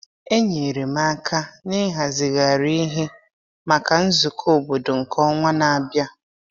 Enyere m aka n’ịhazigharị ihe maka nzukọ obodo nke ọnwa na-abịa.